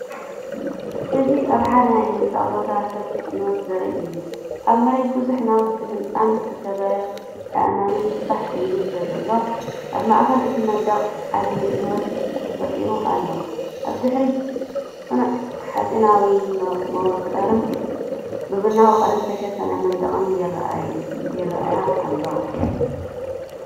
እዚ ኣብ ሓደ ናይ ህንጻ ቦታ ሰፊሕ ዕንወት ዘርኢ እዩ። ኣብ መሬት ብዙሕ ናውቲ ህንጻን ዝተሰብረ ኣእማንን ፋሕ ኢሉ ስለዘሎ፡ኣብ ማእከል እቲ መንደቕ ዓቢ ዕንወት ተፈጢሩ ኣሎ። ኣብ ድሕሪት ጽኑዕ ሓጺናዊ መዋቕርን ብቡናዊ ቀለም ዝተሸፈነ መንደቕን ይራኣይኣሎ።